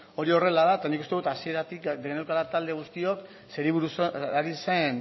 hori horrela da eta nik uste dut hasieratik geneukala talde guztiok zeri buruz ari zen